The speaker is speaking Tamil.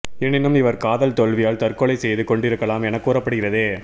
எனினும் இவர் காதல் தோல்வியால் தற்கொலை செய்து கொண்டிருக்கலாம் என கூறப்படுகிறது